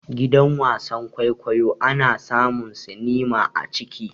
Gidan wasan-kwaikwayo ana samun sinima a ciki.